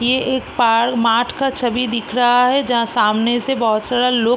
ये एक पा माठ का छवि दिख रहा है जहाँ सामने से बहोत सारा लोग --